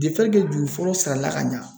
juru fɔlɔ sala ka ɲa.